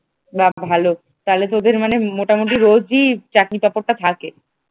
যাক ভালো তা তোদের মানে মোটামুটি রোজই চাটনি পাপড় টা থাকে?